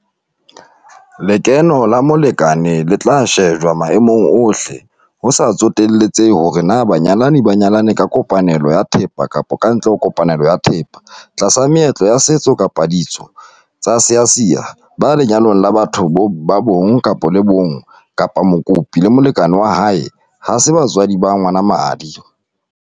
Lekeno la molekane le tla shejwa maemong ohle - ho sa tsotelehe hore na banyalani ba nyalane ka kopanelo ya thepa kapa kantle ho kopanelo ya thepa, tlasa meetlo ya setso kapa ka ditso tsa Seasia, ba lenyalong la batho ba bong bo le bong kapa mokopi le molekane wa hae ha se batswadi ba ngwana ba madi.